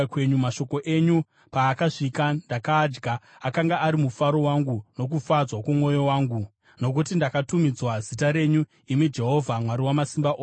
Mashoko enyu paakasvika ndakaadya; akanga ari mufaro wangu nokufadzwa kwomwoyo wangu, nokuti ndakatumidzwa zita renyu, imi Jehovha Mwari Wamasimba Ose.